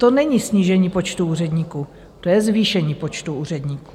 To není snížení počtu úředníků, to je zvýšení počtu úředníků.